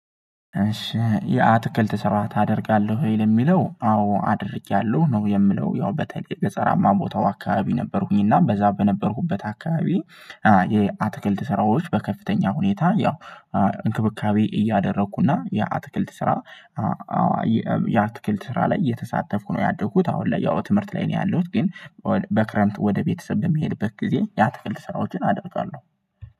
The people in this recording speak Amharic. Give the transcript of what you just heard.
እሺ የአትክልት ስራ ታደርጋለህ ወይ ለሚለው አዎ አድርጌያለሁ ነው የምለው ያው በተለይ ገፀረማ ቦታው አካባቢ ነበርኩኝ እና በዛ በነበርኩበት አካባቢ የአትክልት ስራዎች በከፍተኛ ሁኔታ ያው እንክብካቤ እያደረኩና የአትክልት ስራ የአትክልት ስራ ላይ እየተሳተፍኩ ነው ያደኩት አሁን ላይ ያው ትምህርት ላይ ነው ያለሁት ግን በክረምት ወደ ቤተሰብ በምሄድበት ጊዜ የአትክልት ሰራዎችን አደርጋለሁ።